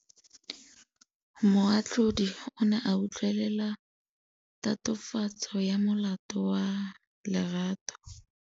Moatlhodi o ne a utlwelela tatofatsô ya molato wa Lerato.